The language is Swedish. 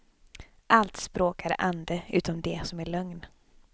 Allt språk är ande, utom det som är lögn.